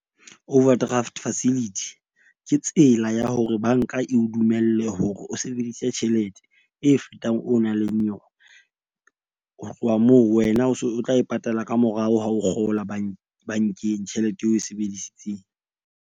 Overdraft facility. Ke tsela ya hore bank-a e o dumelle hore o sebedise tjhelete e fetang o nang leng yona. Ho tloha moo wena o so o tla e patala ka morao ha o kgola bank-eng tjhelete eo oe sebedisitseng.